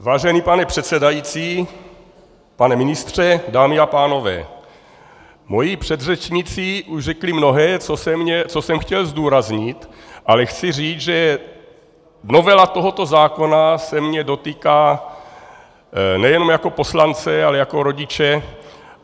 Vážený pane předsedající, pane ministře, dámy a pánové, moji předřečníci už řekli mnohé, co jsem chtěl zdůraznit, ale chci říct, že novela tohoto zákona se mě dotýká nejenom jako poslance, ale jako rodiče.